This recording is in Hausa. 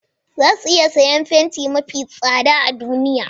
Za su iya siyan fenti mafi tsada a duniya